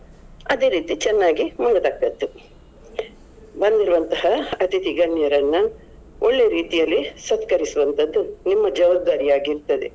ಬಂದಿರುವಂತಹ ಅತಿಥಿ ಗಣ್ಯರನ್ನ ಒಳ್ಳೆ ರೀತಿಯಲ್ಲಿ ಸತ್ಕರಿಸುವಂತದ್ದು ನಿಮ್ಮ ಜವಾಬ್ದಾರಿ ಆಗಿ ಇರ್ತದೆ.